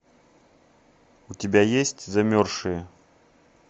у тебя есть замерзшие